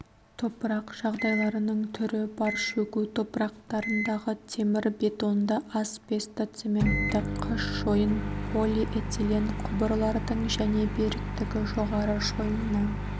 топырақ жағдайларының түрі бар шөгу топырақтарындағы темірбетонды асбестоцементті қыш шойын полиэтилен құбырлардың және беріктігі жоғары шойыннан